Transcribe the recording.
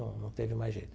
Não não teve mais jeito.